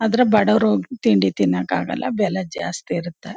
ಆದ್ರೆ ಬಡವರು ತಿಂಡಿ ತಿನ್ನೋಕೆ ಆಗಲ್ಲ ಬೆಲೆ ಜಾಸ್ತಿ ಇರುತ್ತೆ.